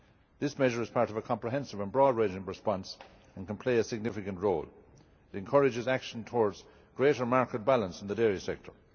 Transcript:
This measure is part of a comprehensive and broad-ranging response and can play a significant role. It encourages action towards greater market balance in the dairy sector.